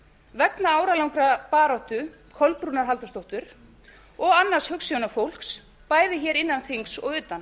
vegna áralangrar baráttu kolbrúnar halldórsdóttur og annars hugsjónafólks bæði hér innan þings og utan